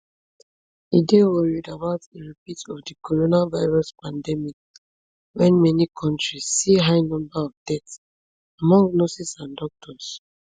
e dey worried about a repeat of di coronavirus pandemic wen many kontris see high number of deaths among nurses and doctors